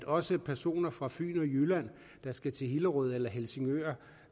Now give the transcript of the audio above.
også personer fra fyn og jylland der skal til hillerød eller helsingør